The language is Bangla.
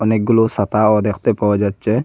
অনেকগুলো সাতাও দেখতে পাওয়া যাচ্ছে।